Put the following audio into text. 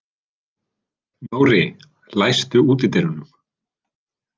Nóri, læstu útidyrunum.